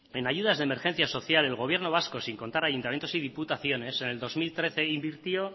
en ayudas de emergencia social el gobierno vasco sin contar ayuntamientos y diputaciones en el dos mil trece invirtió